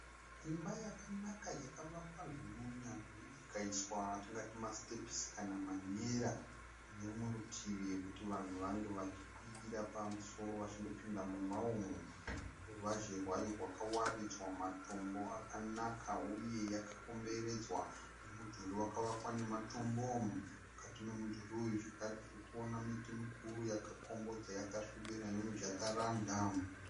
Imba yakanaka yakavakwa zvine unyanzvi yakaiswa yatingati masitepisi kana manera ine rumwe rutivi kuti vanhu vange vachikwira pamusoro vachindopinda mumba umu, ruvazhe rwayo rwakawaridzwa matombo akanaka uye yakakomberedzwa nemudhuri wakavakwa nematombo mukati memudhuri uyu zvakare tiri kuona miti mikuru yakakombodza yakasvibira yemu jakaranda.